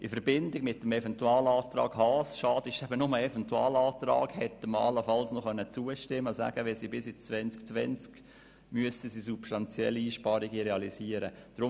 In Verbindung mit dem Eventualantrag Haas – schade, ist es nur ein Eventualantrag – hätte man allenfalls noch zustimmen können, weil dieser besagt, dass spätestens ab dem Jahr 2020 substanzielle Einsparungen zu realisieren sind.